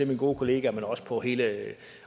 min gode kollega men også på hele